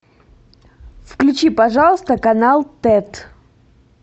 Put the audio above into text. включи пожалуйста канал тет